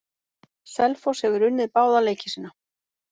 Selfoss hefur unnið báða leiki sína.